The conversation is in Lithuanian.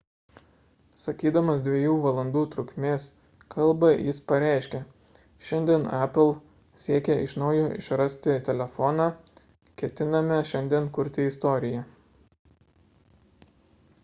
sakydamas 2 valandų trukmės kalbą jis pareiškė šiandien apple siekia iš naujo išrasti telefoną ketiname šiandien kurti istoriją